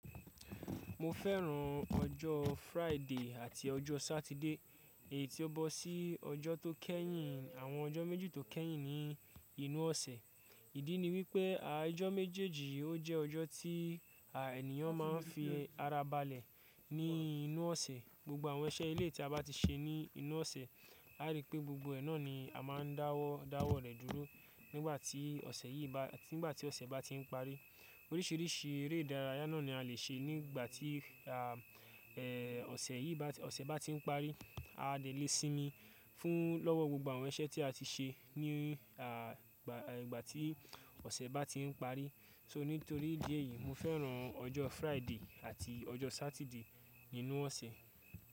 Mo fẹ́ràn ọjọ́ Friday àti ọjọ́ Saturday èyí tí ó bọ̀ sí ọjọ́ tó kẹ́yìn àwọn ọjọ́ méjì tó kẹ́yìn ní inú ọ̀sẹ̀. Ìdí ni wípé ijọ́ méjèèjì yí ó jẹ́ ọjọ́ tí à ènìyàn máa ń fi ara balẹ̀ ní inú ọ̀sẹ̀. Gbogbo àwọn iṣẹ́ eleyii tí a bá ti ṣe ní inú ọ̀sẹ̀, a rí pé gbogbo ẹ náà ni a máa ń dáwọ́ dáwọ́ rẹ̀ dúró nígbà tí ọ̀sẹ̀ yìí bá nígbà tí ọ̀sẹ̀ bá ti ń parí. Oríṣìíríṣìí eré ìdárayá náà ni a lè ṣe nígbà tí à ẹ ọ̀sẹ̀ yìí bá, ọ̀sẹ̀ bá ti ń parí. A dẹ̀ lè sinmi fún lọ́wọ́ gbogbo àwọn iṣẹ́ tí a ti ṣe ní à ìgbà ìgbà tí ọ̀sẹ̀ bá ti ń parí. So nítorí ìdí èyí, mo fẹ́ràn ọjọ́ Friday àti ọjọ́ Saturday nínú ọ̀sẹ̀.